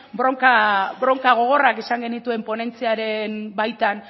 bronka gogorrak izan genituen ponentziaren baitan